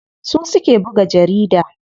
Su suke buga jarida.